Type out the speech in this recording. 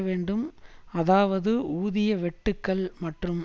வேண்டும் அதாவது ஊதிய வெட்டுக்கள் மற்றும்